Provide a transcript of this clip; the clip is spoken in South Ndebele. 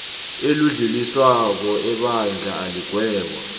elidluliswako ebandla iligweba